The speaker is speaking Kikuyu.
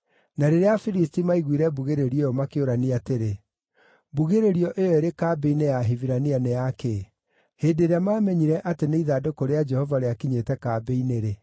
Na rĩrĩa Afilisti maaiguire mbugĩrĩrio ĩyo makĩũrania atĩrĩ, “Mbugĩrĩrio ĩyo ĩrĩ kambĩ-inĩ ya Ahibirania nĩ ya kĩĩ?” Hĩndĩ ĩrĩa maamenyire atĩ nĩ ithandũkũ rĩa Jehova rĩakinyĩte kambĩ-inĩ-rĩ,